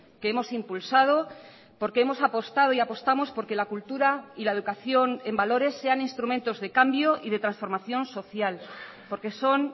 que hemos impulsado porque hemos apostado y apostamos porque la cultura y la educación en valores sean instrumentos de cambio y de transformación social porque son